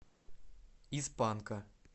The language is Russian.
из панка